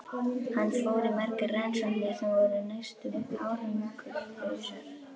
Hann fór í margar rannsóknir sem voru næstum árangurslausar.